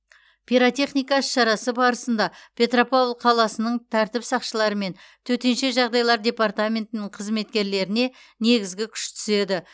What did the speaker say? пиротехника іс шарасы барысында петропавл қаласының тәртіп сақшылары мен төтенше жағдайлар департаментінің қызметкерлеріне негізгі күш түседі